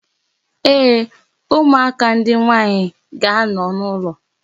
Ee, ụmụaka ndị nwaanyị ga-anọ n'ụlọ.